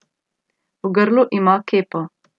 V grlu ima kepo.